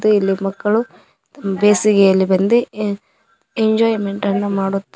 ಇಲ್ಲಿ ಮಕ್ಕಳು ಬೇಸಿಗೆಯಲ್ಲಿ ಬೆಂದಿ ಎಂಜಾಯಮೆಂಟ್ ಅನ್ನು ಮಾಡುತ್ತಾ --